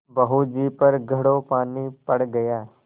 बहू जी पर घड़ों पानी पड़ गया